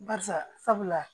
Barisa sabula